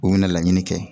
U bɛna laɲini kɛ